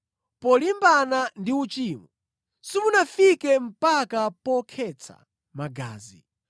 Polimbana ndi uchimo, simunafike mpaka pokhetsa magazi.